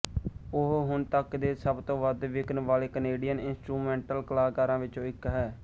ਉਹ ਹੁਣ ਤੱਕ ਦੇ ਸਭ ਤੋਂ ਵੱਧ ਵਿਕਣ ਵਾਲੇ ਕੈਨੇਡੀਅਨ ਇੰਸਟਰੂਮੈਂਟਲ ਕਲਾਕਾਰਾਂ ਵਿੱਚੋਂ ਇੱਕ ਹੈ